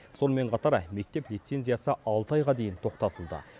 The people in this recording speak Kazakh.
сонымен қатар мектеп лицензиясы алты айға дейін тоқтатылды